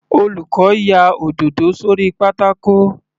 Olùkọ́ ya òdòdó sórí pátákó.